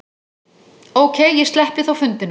Ókei, ég sleppi þá fundinum.